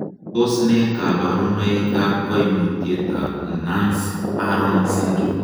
Tos nee koborunoikab koimutietab Nance Horan syndrome?